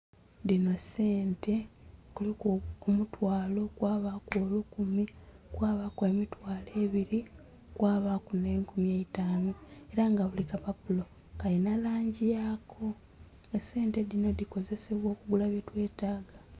Dhino sente kuliku omutwalo kw'abaku olukumi, kw'abaku emitwalo ebiri kw'abaku n'enkumi eitaano era nga bulikapapulo Kalina langi yaako esente dhino dhikozesebwa okugula byetwetaga